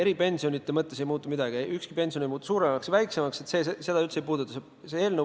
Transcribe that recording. Eripensionide mõttes ei muutu midagi, ükski pension ei muutu suuremaks ega väiksemaks, seda see eelnõu üldse ei puuduta.